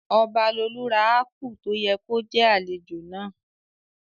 Ọbalolú ra ápù tó yẹ kó jẹ́ àlejò náà